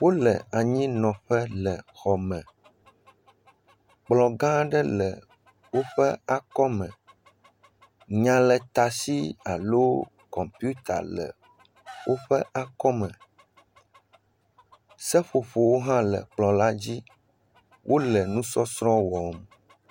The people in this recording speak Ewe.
Wole anyinɔƒe le xɔ me, kplɔ gã aɖe le woƒe akɔme, nyaletasi alo kɔmpita le woƒe akɔme, seƒoƒowo hã le kplɔ la dzi. Wole nusɔsrɔ̃ wɔm.